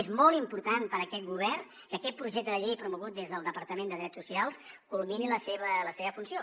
és molt important per a aquest govern que aquest projecte de llei promogut des del departament de drets socials culmini la seva funció